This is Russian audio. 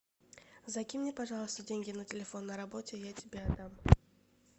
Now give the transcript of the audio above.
закинь мне пожалуйста деньги на телефон на работе я тебе отдам